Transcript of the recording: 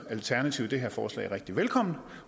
alternativet det her forslag rigtig velkommen